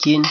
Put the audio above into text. Tyhini!